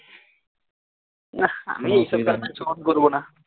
না আমি এইসব বেপার show off করবোনা